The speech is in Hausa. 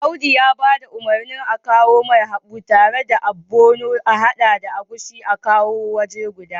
Audu ya ba da umarnin akawomai haɓu tare da ogbono ahada agushi a hade su wuri guda